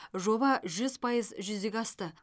жоба жүз пайыз жүзеге асты